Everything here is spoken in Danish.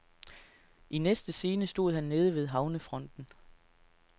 I næste scene stod han nede ved havnefronten.